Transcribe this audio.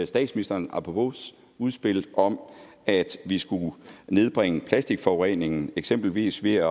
statsministerens apropos udspil om at vi skulle nedbringe plastikforureningen eksempelvis ved at